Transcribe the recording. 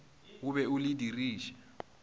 o be o le diriše